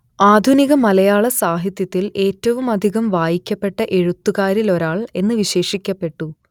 ആധുനിക മലയാള സാഹിത്യത്തിൽ ഏറ്റവുമധികം വായിക്കപ്പെട്ട എഴുത്തുകാരിലൊരാൾ എന്ന് വിശേഷിപ്പിക്കപ്പെട്ടു